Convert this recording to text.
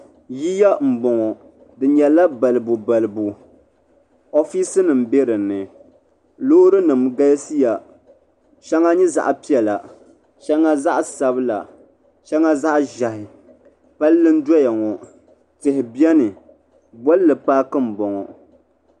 Yiya m boŋɔ di nyɛla balibu balibu ofiisinima be dinni loori nima galisiya sheŋa nyɛ zaɣa piɛla sheŋɔ zaɣasabla sheŋa zaɣaʒehi palli n doyaŋɔ tihi beni bolli paaki m boŋɔ.